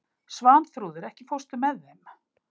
Svanþrúður, ekki fórstu með þeim?